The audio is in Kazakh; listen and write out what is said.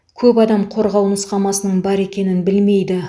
көп адам қорғау нұсқамасының бар екенін білмейді